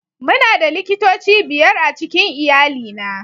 Muna da likitoci biyar a cikin iyalina